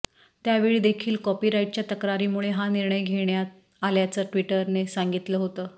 त्यावेळी देखील कॉपीराईटच्या तक्रारीमुळे हा निर्णय घेण्यात आल्याचं ट्विटरने सांगितलं होतं